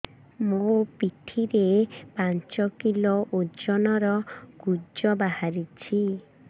ମୋ ପିଠି ରେ ପାଞ୍ଚ କିଲୋ ଓଜନ ର କୁଜ ବାହାରିଛି